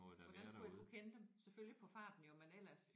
Hvordan skulle jeg kunne kende dem? Selvfølgelig på farten jo men ellers